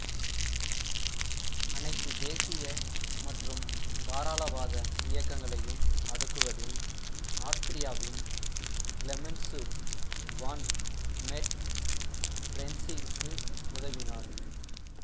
அனைத்து தேசிய மற்றும் தாராளவாத இயக்கங்களையும் அடக்குவதில் ஆஸ்திரியாவின் கிளெமென்சு வான் மெட்டெர்னிச்சிற்கு உதவினார்